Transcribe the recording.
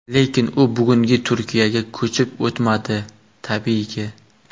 Lekin u bugungi Turkiyaga ko‘chib o‘tmadi tabiiyki.